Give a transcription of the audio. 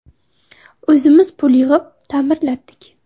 – O‘zimiz pul yig‘ib, ta’mirlatdik.